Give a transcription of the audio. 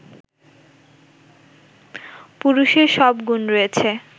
পুরুষের সব গুণ রয়েছে